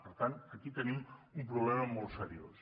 per tant aquí tenim un problema molt seriós